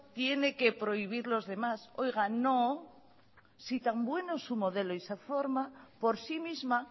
tiene que prohibir los demás oiga no si tan bueno es su modelo y se forma por sí misma